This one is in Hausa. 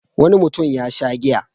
Wani mutum ya sha giya.